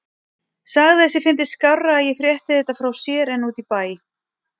Sagði að sér fyndist skárra að ég frétti þetta frá sér en úti í bæ.